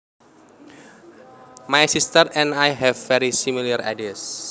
My sister and I have very similar ideas